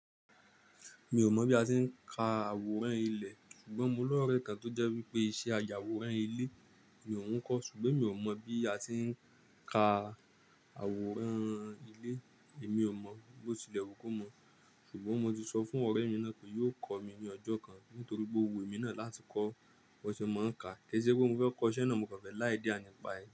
Mi ò mọ̀ bí a ti ń ka àwòrán ilé, ṣùgbọ́n mo lọ́rẹẹ́ kan tó jẹ́ wípé iṣẹ́ àyàwòrán ilé ni òun ń kọ́, ṣùgbọ́n mi ò mọ̀ bí a ti ń ka àwòrán ilé. Èmi ò mọ̀, bó tilẹ̀ ko mọ̀, ṣùgbọ́n mo ti sọ fún ọ̀rẹ́ mi náà pé yóò kọ́ mi ní ọjọ́ kan nítorí pé ó wùn emí náà láti kọ́ bó ṣe máa ń ka, kí è ṣe wípé mo fẹ́ kọ́ iṣẹ́ náà mò kàn fẹ́ ni idea ni pa ẹ̀ ni.